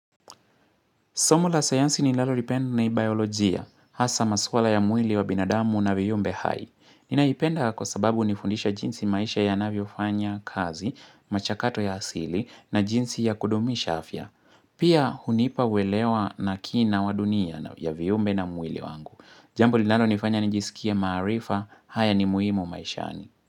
Somo la sayansi ni lalo lipend ni biolojia, hasa masuala ya mwili wa binadamu na viumbe hai. Ninaipenda kwa sababu unifundisha jinsi maisha ya navyofanya kazi, machakato ya asili, na jinsi ya kudumisha afya. Pia hunipa uelewa na kina wadunia na ya viumbe na mwili wangu. Jambo linalo nifanya nijisikie maarifa, haya ni muhimu maishani.